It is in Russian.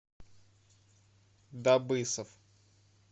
дабысов